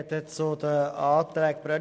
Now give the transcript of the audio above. Ich spreche zu den Anträgen Brönnimann.